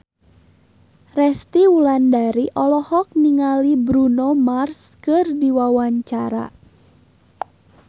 Resty Wulandari olohok ningali Bruno Mars keur diwawancara